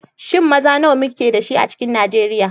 Shin maza nawa muke da shi a cikin Nijeriya?